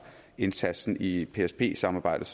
indsatsen i psp samarbejdet